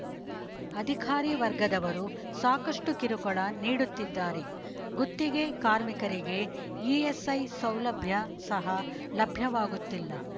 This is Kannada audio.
ಅಧಿಕಾರಿ ವರ್ಗದವರು ಸಾಕಷ್ಟುಕಿರುಕುಳ ನೀಡುತ್ತಿದ್ದಾರೆ ಗುತ್ತಿಗೆ ಕಾರ್ಮಿಕರಿಗೆ ಇಎಸ್‌ಐ ಸೌಲಭ್ಯ ಸಹ ಲಭ್ಯವಾಗುತ್ತಿಲ್ಲ